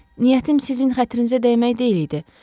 Niyyətim sizin xətrinizə dəymək deyildi.